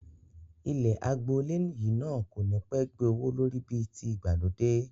Ilẹ̀ àgboole yìí náà kò ní pẹ́ gbé owó lórí bí ti ìgbàlódé